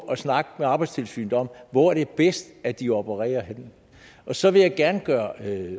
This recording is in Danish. at snakke med arbejdstilsynet om hvor det er bedst at de opererer henne så vil jeg gerne gøre